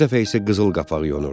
Bu dəfə isə qızıl qapaq yonurdu.